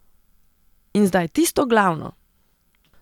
In zdaj tisto glavno!